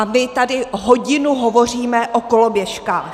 A my tady hodinu hovoříme o koloběžkách.